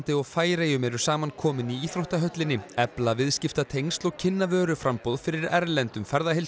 og Færeyjum eru saman komin í íþróttahöllinni til efla viðskiptatengsl og kynna vöruframboð fyrir erlendum